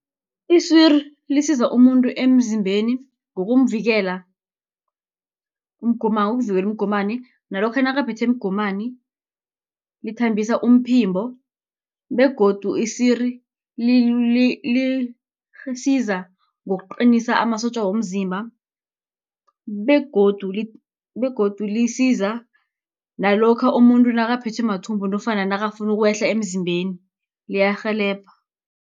Isiri, lisiza umuntu emzimbeni ngokumvikela umgomani, nalokha nakaphethwe mgomani, lithambisa umphimbo, begodu isiri lisiza ngokuqinisa amasotja womzimba, begodu lisiza nalokha umuntu nakaphethwe mathumbu nofana nakafunu ukwehla emzimbeni liyarhelebha.